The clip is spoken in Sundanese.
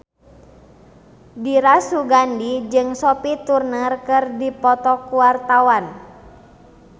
Dira Sugandi jeung Sophie Turner keur dipoto ku wartawan